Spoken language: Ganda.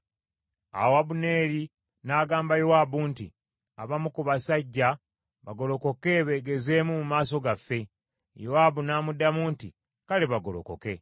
Awo Abuneeri n’agamba Yowaabu nti, “Abamu ku basajja bagolokoke beegezeemu mu maaso gaffe.” Yowaabu n’amuddamu nti, “Kale bagolokoke.”